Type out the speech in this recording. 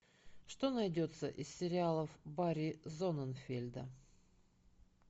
что найдется из сериалов барри зонненфельда